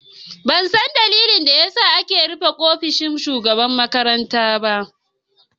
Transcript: Ban san ɗalilin da ya sa ake rufe ofishin mataimaƙin shugaban makaranta ba.